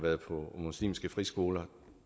muslimske friskoler